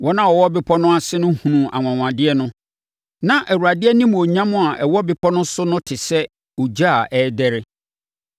Wɔn a wɔwɔ bepɔ no ase no hunuu anwanwadeɛ no. Na Awurade animuonyam a ɛwɔ bepɔ no so no te sɛ ogya a ɛrederɛ.